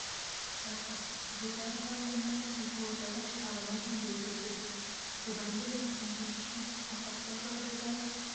жатыр жылдар аралығында қызылордада шағын аудан бой көтерді бұдан бөлек соңғы үш жылда апаттық жағдайдағы